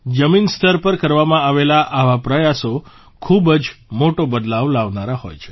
જમીન સ્તર પર કરવામાં આવેલા આવા પ્રયાસો ખૂબ જ મોટો બદલાવ લાવનારા હોય છે